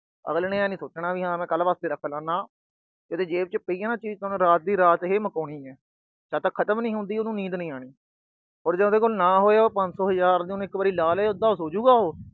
ਅਗਲੇ ਨੇ ਆਈ ਨੀ ਸੋਚਣਾ ਵੀ ਕੱਲ੍ਹ ਵਾਸਤੇ ਰੱਖਲਾ, ਨਾ। ਇਹਦੀ ਜੇਬ ਚ ਪਈ ਆ ਨਾ ਚੀਜ ਤਾਂ ਮੈਂ ਰਾਤ ਦੀ ਰਾਤ ਹੀ ਮੁਕਾਣੀ ਹੈ। ਜਦ ਤੱਕ ਖਤਮ ਨੀ ਹੁੰਦੀ, ਤਦ ਤੱਕ ਨੀਂਦ ਨੀ ਆਉਣੀ। ਹੁਣ ਜੇ ਉਹਦੇ ਕੋਲ ਨਾ ਹੋਏ, ਪੰਜ ਸੌ, ਹਜਾਰ ਉਹਨੇ ਲਾ ਲਏ, ਇਦਾ ਸੌ ਜਾਉਗਾ ਉਹ।